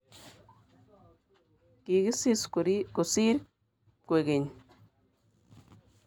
Kikisis kosir kwekeny